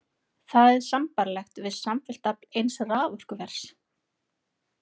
Það er sambærilegt við samfellt afl eins raforkuvers.